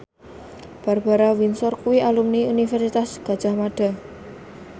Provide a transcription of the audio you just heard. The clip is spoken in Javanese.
Barbara Windsor kuwi alumni Universitas Gadjah Mada